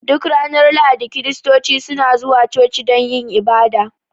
Duk ranar Lahadi Kiristoci suna zuwa coci don yin ibada